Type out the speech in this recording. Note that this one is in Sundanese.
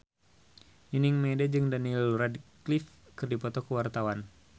Nining Meida jeung Daniel Radcliffe keur dipoto ku wartawan